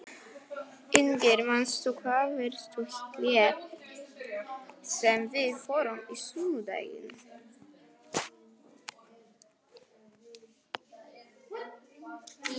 Ingrid, manstu hvað verslunin hét sem við fórum í á sunnudaginn?